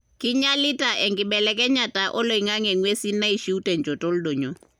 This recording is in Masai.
kinyialita enkibelekenyata oloingange engwesin naishiu tenchoto oldonyio.